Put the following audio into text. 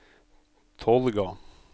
Tolga